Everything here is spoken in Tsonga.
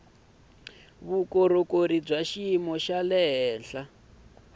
vukorhokeri bya xiyimo xa le